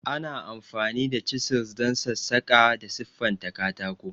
Ana amfani da chisels don sassaƙa da siffanta katako.